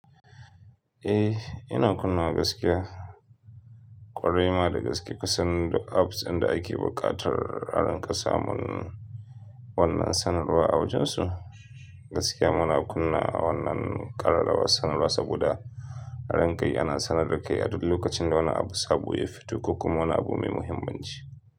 Eh, ina kunna gaskiya ƙwarai ma da gaske kusan duk apps inda ake buƙatar a dinƙa samun wannan sanarwa a wajen su. Gaskiya muna kunna wannan ƙararrawar sanarwa saboda a rankai ana sanar da kai a duk lokacin da wani abu sabo ya fito ko kuma wani abun mai muhimmanci.